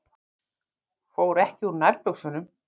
Fór ekki úr nærbuxunum.